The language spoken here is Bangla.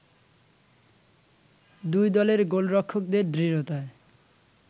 দুই দলের গোলরক্ষকদের দৃঢ়তায়